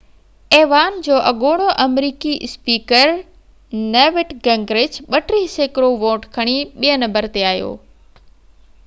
ايوان جو اڳوڻو آمريڪي اسپيڪر نيوٽ گنگرچ 32 سيڪڙو ووٽ کڻي ٻئي نمبر تي آيو